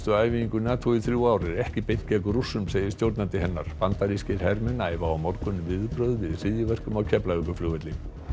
æfingu NATO í þrjú ár er ekki beint gegn Rússum segir stjórnandi hennar bandarískir hermenn æfa á morgun viðbrögð við hryðjuverkum á Keflavíkurflugvelli